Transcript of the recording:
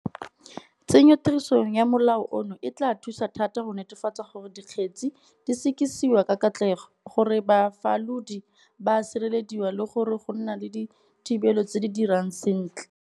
Tsenyotirisong ya molao ono e tla thusa thata go netefatsa gore dikgetse di sekisiwa ka katlego, gore bafalodi ba a sirelediwa le gore go nna le dithibelo tse di dirang sentle.